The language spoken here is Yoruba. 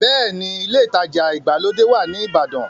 Bẹ́ẹ̀ni, ilé ìtajà ìgbàlódé wà ní ìbàdàn.